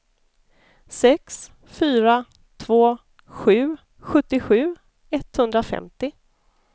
sex fyra två sju sjuttiosju etthundrafemtio